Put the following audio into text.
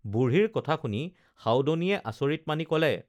বুঢ়ীৰ কথা শুনি সাউদনীয়ে আচৰিত মানি কলে